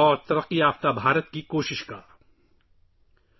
اور ترقی یافتہ ہندوستان کے لیے کوششوں پر تبادلہ خیال کریں گے